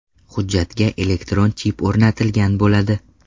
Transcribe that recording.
Hujjatga elektron chip o‘rnatilgan bo‘ladi.